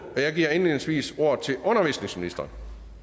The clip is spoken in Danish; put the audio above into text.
og jeg giver indledningsvis ordet til undervisningsministeren